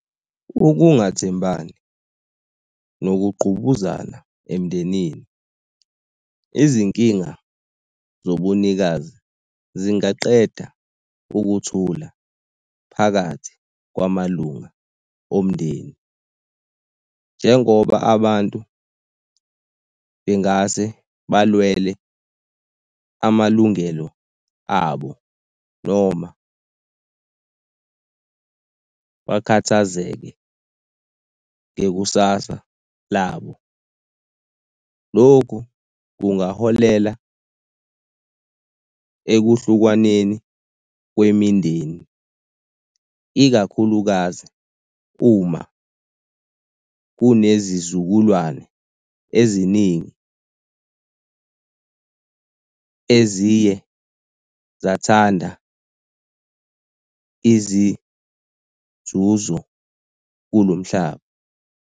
Ukungathembani nokungqubuzana emndenini. Izinkinga zobunikazi zingaqeda ukuthula phakathi kwamalunga omndeni njengoba abantu bengase balwele amalungelo abo noma bakhathazeke ngekusasa labo. Lokhu kungaholela ekuhlukwaneni kwemindeni, ikakhulukazi uma kune zizukulwane eziningi eziye zathanda izinzuzo kulo mhlaba.